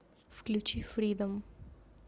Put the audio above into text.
включи фридом